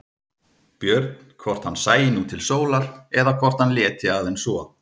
Björn hvort hann sæi nú til sólar eða hvort hann léti aðeins svo.